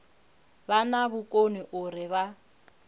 vha na vhukoni uri vha